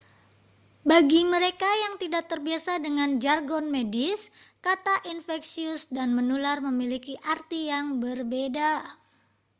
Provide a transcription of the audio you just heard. bagi mereka yang tidak terbiasa dengan jargon medis kata infeksius dan menular memiliki arti yang berbeda